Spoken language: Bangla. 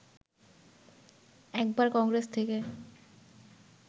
একবার কংগ্রেস থেকে